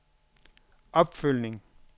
opfølgning